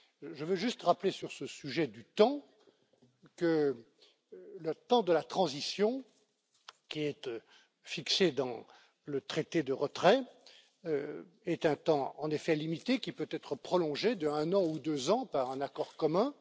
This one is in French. Je veux juste rappeler, sur ce sujet du temps, que le temps de la transition, qui est fixé dans le traité de retrait, est un temps en effet limité, qui peut être prolongé d'un an ou de deux ans par un accord commun.